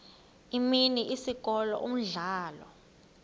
imini isikolo umdlalo